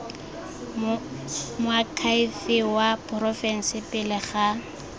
moakhaefe wa porofense pele ga